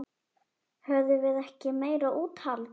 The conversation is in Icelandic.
Höfðum við ekki meira úthald?